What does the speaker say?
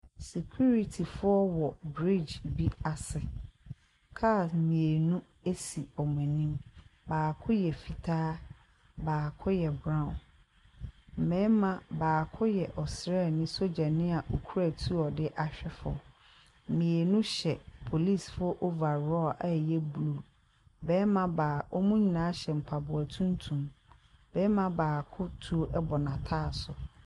Sikiritifoɔ wɔ brig bi ase. Kaa mmienu esi wɔn anim. Baako yɛ fitaa, baako yɛ braw. Mmɛrima baako yɛ osrani sogyani a okura tuo a ɔde ahwe fam. Mmienu hyɛ polisifo ovarɔl a ɛyɛ blu. Ɔmo nyinaa hyɛ mpaboa tuntum. Bɛrima baako tuo ɛbɔ nataaso.